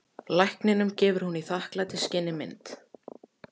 Lækninum gefur hún í þakklætisskyni mynd.